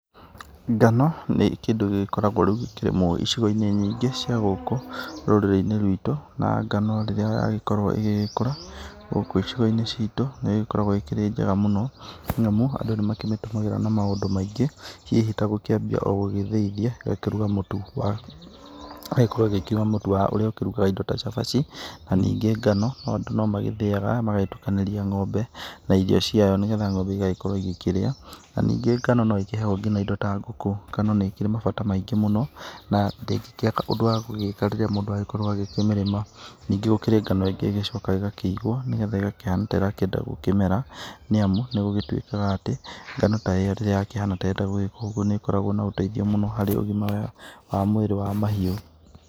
Ngano nĩ kĩndũ gĩkoragwo icigo-inĩ nyingĩ cia gũkũ rũrĩri-inĩ rwitũ na ngano rĩrĩa yakorwo ĩgĩkũra, gũkũ icigoinĩ citũ, nĩ gĩkoragwo ĩkĩrĩ njega mũno. Nĩ amu andũ nĩ makoragwo makĩmĩtũmĩra na maingĩ hihi ta gũkĩambia gũthĩithia, na agagĩkorwo agĩkĩma mũtu ũrĩa ũkĩrugaga cabaci na ningĩ ngano andũ no mathĩaga magagĩtukanĩria ng'ombe na irio ciayo nĩgetha ng'ombe ĩgakorwo ĩkĩrĩa. Na ningĩ ngano no ĩkĩheagwo nginya indo ta ngũkũ, kana nĩ kĩrĩ mabata maingĩ mũno, na ndĩngĩkĩaga ũndũ wagũgĩka rĩrĩa mũndũ akorwo agĩkĩmĩrĩma. Ningĩ gũkĩrĩ na ngano ĩngĩ ĩcokaga ĩkaigwo nĩgetha ikahana ta ĩrakĩeda gũkĩmera nĩamu nĩyo gũtuĩkaga atĩ ngano ta ĩyo rĩrĩa yakĩhana ũguo, nĩ ĩkoragwo na ũteithio mũno harĩ ũgima wa mwĩrĩ wa mahiũ.